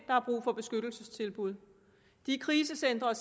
har brug for beskyttelsestilbud de krisecentre